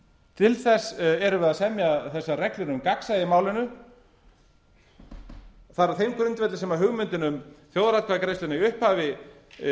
til þess erum við að semja þessar reglur um gagnsæi í málinu það er á þeim grundvelli sem hugmyndin um þjóðaratkvæðagreiðsluna í upphafi